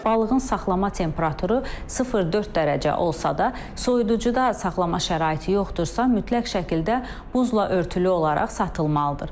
Balığın saxlama temperaturu 0-4 dərəcə olsa da, soyuducuda saxlama şəraiti yoxdursa, mütləq şəkildə buzla örtülü olaraq satılmalıdır.